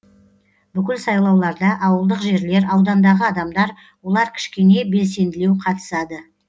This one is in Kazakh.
бүкіл сайлауларда ауылдық жерлер аудандағы адамдар олар кішкене белсенділеу қатысады